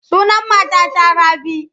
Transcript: Sunan matata Rabi.